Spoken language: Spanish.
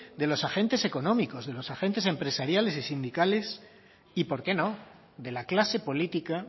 de los agentes económicos de los agentes empresariales y sindicales y por qué no de la clase política